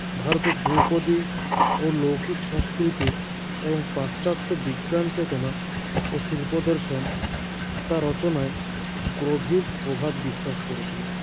ভারতের ধ্রুপদী ও লৌকিক সংস্কৃতি এবং পাশ্চাত্য বিজ্ঞানচেতনা ও শিল্পদর্শন তাঁর রচনায় গ্ৰভীর প্রভাব বিশ্বাস করেছিল